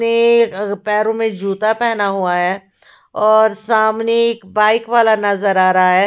पैरों में जूता पहना हुआ है और सामने एक बाइक वाला नज़र आ रहा है।